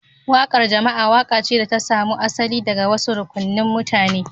Waƙar jama'a waƙa ce da ta samo asali daga wasu rukunin mutane